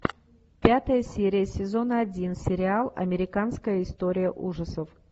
пятая серия сезона один сериал американская история ужасов